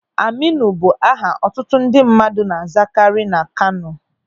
Aminu bụ aha ọtụtụ ndị mmadụ na-azakari na Kano.